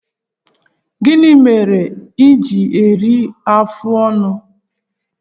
Gịnị mere i ji eru afụ ọnụ?